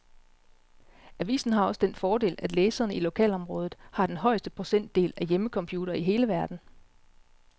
Avisen har også den fordel, at læserne i lokalområdet har den højeste procentdel af hjemmecomputere i hele verden.